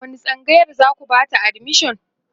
a wani tsangayar zaku Bata admission?